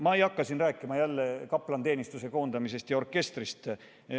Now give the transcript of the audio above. Ma ei hakka siin enam rääkima kaplaniteenistuse koondamisest ja orkestrist.